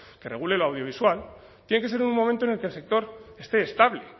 que regule lo audiovisual tiene que ser en un momento en el que el sector esté estable